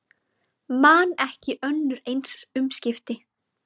Man ekki önnur eins umskipti